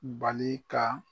Bali ka